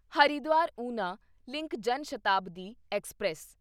ਹਰਿਦਵਾਰ ਉਨਾ link Janshatabdi express